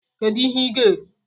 Kedu ihe ị ga-eri?